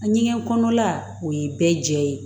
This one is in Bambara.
A ɲɛgɛn kɔnɔla o ye bɛɛ jɛ ye